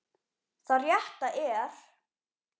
Það rétta er.